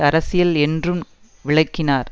அரசியல் என்றும் விளக்கினார்